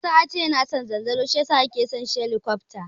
Isa yace yana son zanzaro shi yasa yake son shelikofta.